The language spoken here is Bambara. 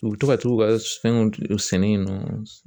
U bɛ to ka t'u ka fɛnw sɛnɛ yen nɔ